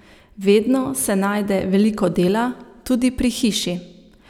Vedno se najde veliko dela, tudi pri hiši.